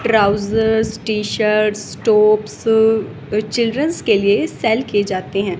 Trouser T shirt tops children के लिए sale किए जाते हैं।